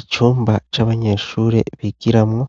Icumba c'abanyeshuri bigiramwo